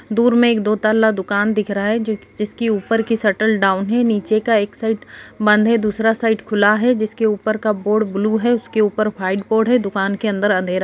दूर में एक दो तल्ला दुकान दिख रहा है जिस जिसकी ऊपर की शटल डाउन है नीचे का एक साइड बंद है दूसरा साइड खुला है जिसके ऊपर का बोर्ड ब्लू है उसके ऊपर व्हाइट बोर्ड है दुकान के अंदर अँधेरा --